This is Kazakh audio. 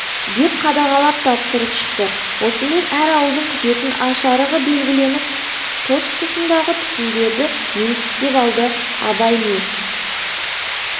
деп қадағалап тапсырып шықты осымен әр ауылдың күтетін аш-арығы белгіленіп тұс-тұсындағы түтіндерді меншіктеп алды абай мен